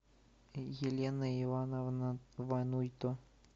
елена ивановна вануйто